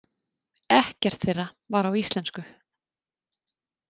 Ekkert þeirra var á íslensku.